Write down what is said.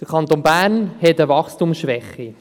Der Kanton Bern hat eine Wachstumsschwäche.